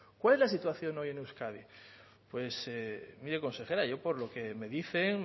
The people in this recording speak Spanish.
cuál es la situación hoy en euskadi mire consejera yo por lo que me dicen